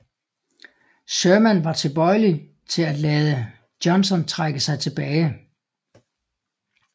Sherman var tibøjelig til at lade Johnston trække sig tilbage